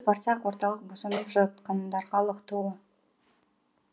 барсақ орталық босанып жатқандарға лық толы